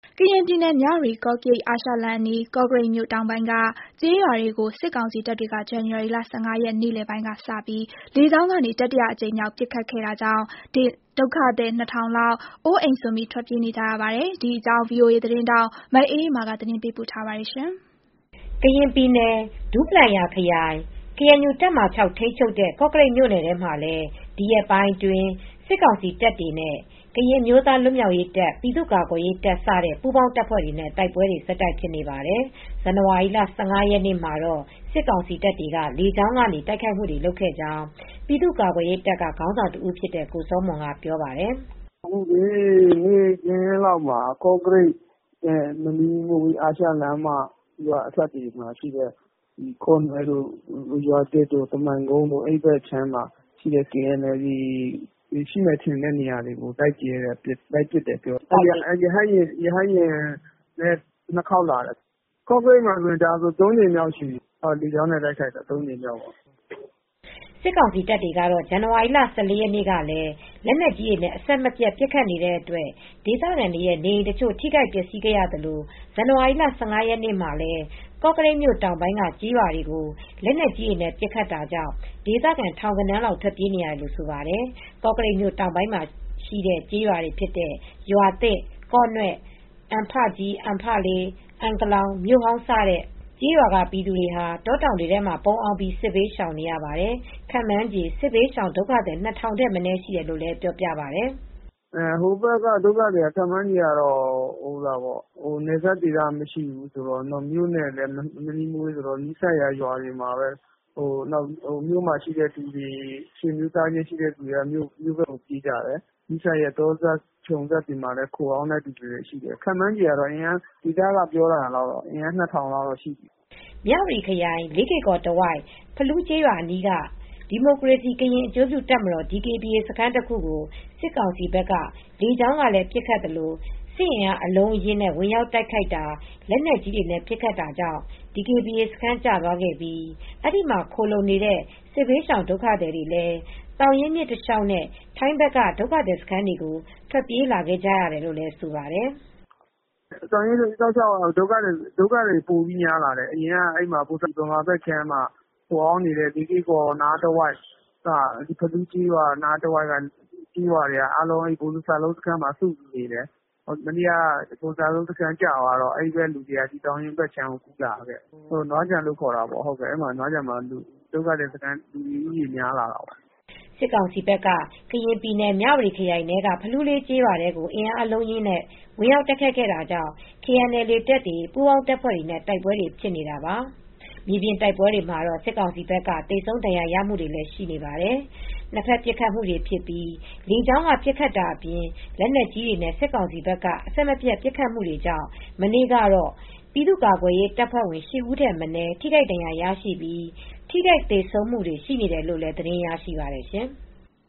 ကရင်ပြည်နယ်၊ မြဝတီ-ကော့ကရိတ် အာရှလမ်းအနီး ကော့ကရိတ်မြို့ တောင်ပိုင်းက ကျေးရွာတွေကို စစ်ကောင်စီတပ်တွေက ဇန်နဝါရီလ ၁၅ ရက် နေ့လယ်ပိုင်းကစပြီး လေကြောင်းကနေ တတိယအကြိမ်မြောက် ပစ်ခတ်ခဲ့တာကြောင့် ဒုက္ခသည် ၂,၀၀၀ လောက် အိုးအိမ်စွန့် ထွက်ပြေးနေကြရပါတယ်။ ဒီအကြောင်း ဗွီအိုအေသတင်းထောက် မအေးအေးမာ သတင်းပေးပို့ထားပါတယ်။ ကရင်ပြည်နယ် ဒူးပလာယာခရိုင် ကေအန်ယူတပ်မဟာ ၆ ထိန်းချုပ်တဲ့ ကော့ကရိတ်မြို့နယ်မှာလည်း ဒီရက်ပိုင်းအတွင်း စစ်ကောင်စီတပ်တွေနဲ့ ကရင်အမျိုးသား လွတ်မြောက်ရေးတပ်၊ ပြည်သူ့ကာကွယ်ရေးတပ် စတဲ့ ပူးပေါင်းတပ်ဖွဲ့တွေနဲ့ တိုက်ပွဲတွေ ဆက်တိုက်ဖြစ်နေပါတယ်။ ဇန်နဝါရီလ ၁၅ ရက်နေ့မှာတော့ စစ်ကောင်စီတပ်တွေက လေကြောင်းကနေ တိုက်ခိုက်မှုတွေ လုပ်ခဲ့ကြောင်း ပြည်သူ့ကာကွယ်ရေးတပ်က ခေါင်းဆောင်တဦးဖြစ်တဲ့ ကိုစောမွန်က ပြောပါတယ်။ “နေ့ခင်းလောက်မှာ ကော့ကရိတ်နဲ့ မနီးမဝေး အာရှလမ်းမ ရွာအစပ်တွေမှာရှိတဲ့ ကော့နွဲ့တို့ ရွာသစ်တို့ ကမိုင်ကုန်းတို့ အဲဒီဘက်က KNLA တပ်တွေ ရှိတယ်ထင်တဲ့ နေရာကို လိုက်ပစ်တယ်၊ ရဟတ်ယာဉ်နဲ့ ၂ ခေါက်လာတယ်။ ကော့ကရိတ်မှာ အခုတိုက်တာဆို ၃ ကြိမ်လောက်ရှိပြီ။ လေကြောင်းနဲ့ တိုက်ခိုက်တာ ၃ ကြိမ်ရှိပြီ။” စစ်ကောင်စီတပ်တွေကတော့ ဇန်နဝါရီလ ၁၄ ရက်နေ့ကလည်း လက်နက်ကြီးတွေနဲ့ အဆက်မပြတ် ပစ်ခတ်နေတဲ့အတွက် ဒေသခံတွေရဲ့ နေအိမ်တချို့ ထိခိုက်ပျက်စီးခဲ့ရသလို ဇန်နဝါရီလ ၁၅ ရက်နေ့မှာလည်း ကော့ကရိတ်တောင်ပိုင်းက ကျေးရွာတွေကို လက်နက်ကြီးနဲ့ ပစ်ခတ်တာကြောင့် ဒေသခံ ထောင်ဂဏန်းလောက်ဟာ ထွက်ပြေးနေရတယ်လို့ ဆိုပါတယ်။ ကော့ကရိတ်မြို့ တောင်ပိုင်းမှာရှိတဲ့ ကျေးရွာတွေဖြစ်တဲ့ ရွာသစ်၊ ကေ့ာနွဲ့၊ အံဖကြီး၊ အံဖလေး၊ အံကလောင်၊ မြို့ဟောင်း စတဲ့ ကျေးရွာက ပြည်သူတွေဟာ တောတောင်တွေထဲမှာ ပုန်းအောင်းပြီး စစ်ဘေးရှောင်နေရပါတယ်။ ခန့်မှန်းခြေ စစ်ဘေးရှောင်ဒုက္ခသည် ၂,၀၀၀ ထက်မနည်း ရှိတယ်လို့လည်း ပြောပါတယ်။ “ကော့ကရိတ်ဘက် ကျေးရွာတွေဖြစ်တဲ့ ကော့ကရိတ်ဘက်က ဒုက္ခသည်တွေကတော့ ခန့်မှန်းခြေကတော့ နယ်စပ်တွေကမရှိ၊ မြို့နဲ့မနီးမဝေးဆိုတော့ မြို့မှာ ဆွေမျိုးသားချင်းရှိတဲ့ နေရာတွေမှာ ခိုအောင်းတာရှိတယ်။ တောတောင်တွေထဲ ခြုံစပ် တောစပ်တွေမှာ ခန့်မှန်းခြေအရ ဒေသခံတွေ ပြောတာတော့ လူဦးရေ ၂,၀၀၀ လောက်ရှိတယ်။” မြဝတီခရိုင် လေးကေ့ကော်တဝိုက် ဖလူးကျေးရွာအနီးက ဒီမိုကရေစီ ကရင်အကျိုးပြုတပ်မတော် DKBA စခန်းတခုကို စစ်ကောင်စီဘက်က လေကြောင်းကလည်း ပစ်ခတ်သလို စစ်အင်အား အလုံးအရင်းနဲ့ ဝင်ရောက်တိုက်ခိုက်တာ၊ လက်နက်ကြီးတွေနဲ့ ပစ်ခတ်တာတွေကြောင့် DKBA စခန်း ကျသွားခဲ့ပြီး အဲဒီမှာ ခိုလှုံနေတဲ့ စစ်ရှောင်ဒုက္ခသည်တွေလည်း သောင်ရင်းမြစ်တလျှောက်နဲ့ ထိုင်းဘက်က ဒုက္ခသည်စခန်းကို ထွက်ပြေးလာခဲ့ကြရတယ်လို့လည်း ဆိုပါတယ်။ “သောင်ရင်းတလျှောက်ကတော့ ဒုက္ခသည်တွေ ပိုများလာတယ်။ အရင်က မြန်မာဘက်ခြမ်းက ခိုအောင်းနေတဲ့ လေးကေ့ကော်နားတဝိုက် ဖလူးကျေးရွာတဝိုက်က လူတွေက ဗိုလ်စလုံးစခန်းမှာပဲ နေကြတယ်။ အခု ဗိုလ်စလုံးစခန်း ကျသွားတဲ့အခါကျတော့ လူတွေက ပိုများလာတယ်။ သောင်ရင်းမြစ် တဖက်ခြမ်းကို ကူးလာတယ်။ ထိုင်းဘက်ခြမ်း နွားခြံဘက်မှာလည်း လူဦးရေ ပိုများလာတာပေါ့။” စစ်ကောင်စီဘက်က ကရင်ပြည်နယ် မြဝတီခရိုင်ထဲက ဖလူးလေးကျေးရွာထဲကို အင်အားအလုံးအရင်းနဲ့ ဝင်ရောက်တိုက်ခိုက်ခဲ့တာကြောင့် KNLA တပ်တွေ ပူးပေါင်းတပ်ဖွဲ့တွေနဲ့ တိုက်ပွဲဖြစ်နေတာပါ။ မြေပြင်တိုက်ပွဲတွေမှာတော့ စစ်ကောင်စီဘက်က သေဆုံးဒဏ်ရာရမှုတွေလည်း ရှိနေပါတယ်။ နှစ်ဖက်ပစ်ခတ်မှုတွေဖြစ်ပြီး လေကြောင်းက ပစ်ခတ်တာအပြင် လက်နက်ကြီးတွေနဲ့ စစ်ကောင်စီဘက်က အဆက်မပြတ် ပစ်ခတ်မှုတွေကြောင့် မနေ့ကတော့ ပြည်သူ့ကာကွယ်ရေးတပ်ဖွဲ့ဝင် ၈ ဦးထက်မနည်း ထိခိုက်ဒဏ်ရာရရှိပြီး ထိခိုက်သေဆုံးမှုတွေလည်း ရှိတယ်လို့ သတင်းရရှိပါတယ်။